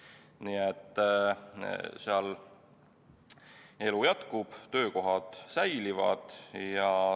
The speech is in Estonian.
Nii et seal elu jätkub ja töökohad säilivad.